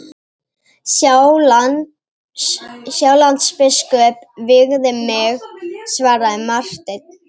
Sjálandsbiskup vígði mig, svaraði Marteinn.